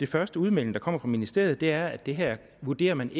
første udmelding der kommer fra ministeriet er at det her vurderer man